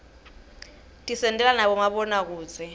tisentela nabomabonakudze